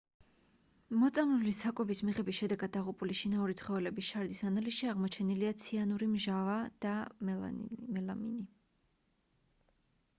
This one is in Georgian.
მოწამლული საკვების მიღების შედეგად დაღუპული შინაური ცხოველების შარდის ანალიზში აღმოჩენილია ციანურის მჟავა და მელამინი